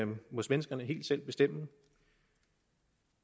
må svenskerne helt selv bestemme